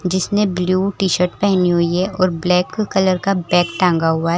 जिसने blue T shirt पहनी हुई है और ब्लैक कलर का बैग टांगा हुआ है।